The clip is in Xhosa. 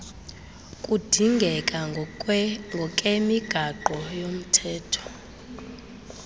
kudingeka ngokemigaqo yomhtetho